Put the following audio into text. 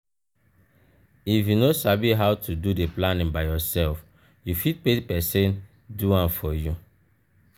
if you no sabi how to do di planning by yourself you fit pay persin do am for you